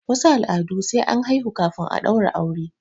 wasu al'adun sai an haihu kafin a daura aure